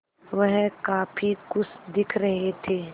वह काफ़ी खुश दिख रहे थे